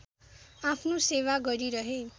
आफ्नो सेवा गरिरहे